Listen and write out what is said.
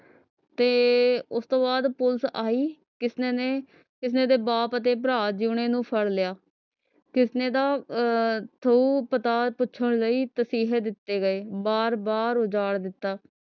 ਤੇ ਉਸ ਤੋਂ ਬਾਅਦ police ਆਈ ਕਿਸਨੇ ਨੇ ਕਿਸਨੇ ਦੇ ਬਾਪ ਤੇ ਭਰਾ ਜੋਯਨੀ ਨੂੰ ਫੜ ਲਿਆ ਕਿਸਨੇ ਦਾ ਅਹ ਥਹੁ ਪਤਾ ਪੁੱਛਣ ਲਈ ਤਸੀਹੇ ਦਿਤੇ ਗਏ ਬਾਰ ਬਾਰ ਉਜਾੜ ਦਿਤਾ